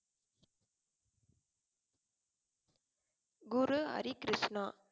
Guru Hari Krishna